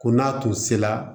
Ko n'a tun sera